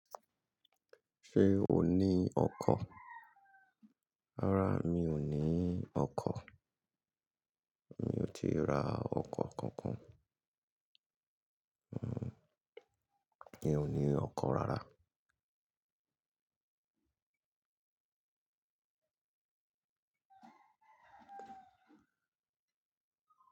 Ṣé o ní ọkọ̀? Rárá, mi ò ní ọkọ̀. Mi ò ti ra ọkọ̀ kankan. Mi ò ní ọkọ̀ rárá.